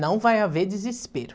Não vai haver desespero.